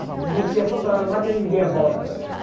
A gente ia toda hora lá para ele ler a bola.